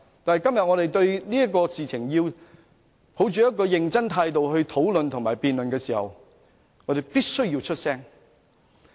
但當我們今天以一種認真的態度討論及辯論這件事時，我們必須發聲。